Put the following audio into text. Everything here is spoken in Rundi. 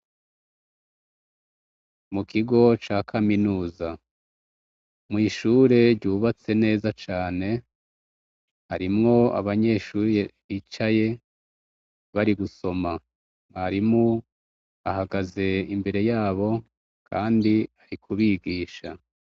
Mukigo ca kaminuza mwishure ryubatse neza cane harimwo abanyeshure bicaye bari gusoma mwarimu ahagaze imbere yabo kandi arikubigisha